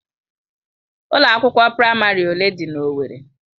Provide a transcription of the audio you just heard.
Ụlọ akwụkwọ praịmarị ole dị na owerri?